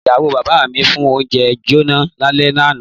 Ìyàwó bàbá mi fi oúnjẹ jóná lálẹ́ àná.